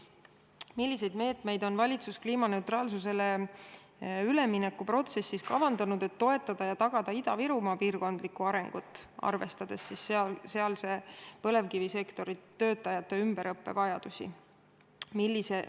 Edasi: milliseid meetmeid on valitsus kliimaneutraalsusele ülemineku protsessis kavandanud, et toetada ja tagada Ida-Virumaa piirkondlikku arengut, arvestades sealse põlevkivisektori töötajate ümberõppe vajadusi?